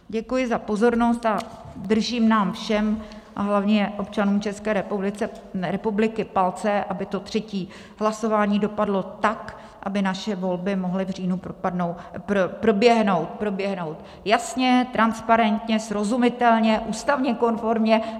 Děkuji za pozornost a držím nám všem a hlavně občanům České republiky palce, aby to třetí hlasování dopadlo tak, aby naše volby mohly v říjnu proběhnout jasně, transparentně, srozumitelně, ústavně konformně.